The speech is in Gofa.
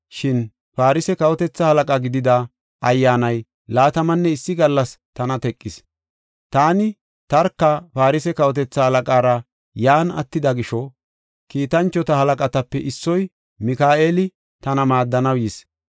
Shin Farse kawotethaa halaqa gidida ayyaanay laatamanne issi gallas tana teqis. Taani, tarka Farse kawotethaa halaqaara yan attida gisho, kiitanchota halaqatape issoy, Mika7eeli, tana maaddanaw yis.